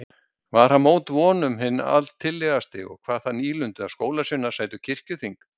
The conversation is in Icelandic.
Var hann mót öllum vonum hinn altillegasti og kvað það nýlundu að skólasveinar sætu kirkjuþing.